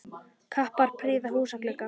Kappar prýða húsa glugga.